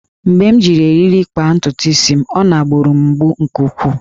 Mgbe m ji eriri kpaa ntutu isi m, ọ na-gburu m mgbu nke ukwuu